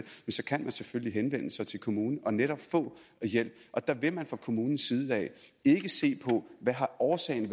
så kan man selvfølgelig henvende sig til kommunen og netop få hjælp der vil man fra kommunens side ikke se på hvad årsagen